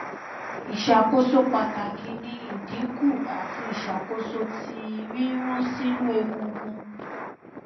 iṣakoso pataki ni idinku ati iṣakoso ti rirun sinu egungun